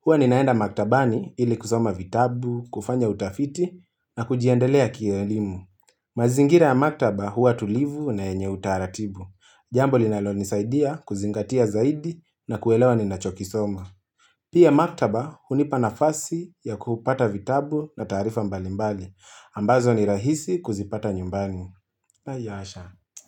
Huwa ninaenda maktabani ili kusoma vitabu, kufanya utafiti, na kujiendelea kielimu. Mazingira ya maktaba huwa tulivu na yenye utaratibu. Jambo linalonisaidia kuzingatia zaidi na kuelewa ninachokisoma. Pia maktaba hunipa nafasi ya kupata vitabu na taarifa mbalimbali. Ambazo ni rahisi kuzipata nyumbani. La hasha.